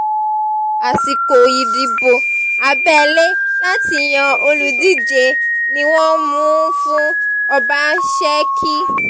àsìkò ìdìbò abẹ́lé láti yan olùdíje ni wọ́n mú un fún ọbaṣẹ́kí